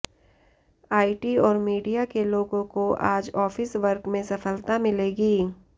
IT और media के लोगों को आज ऑफिस वर्क में सफलता मिलेगी